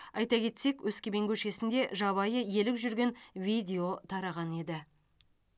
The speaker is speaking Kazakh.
айта кетсек өскемен көшесінде жабайы елік жүрген видео тараған еді